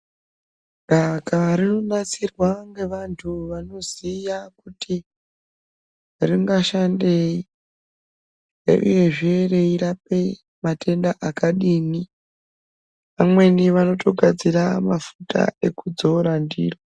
Daka rinonasirwa ngevantu vanoziya kuti ringashandei uyezve reirape matenda akadini, vamweni vanotogadzira mafuta ekudzora ndiro .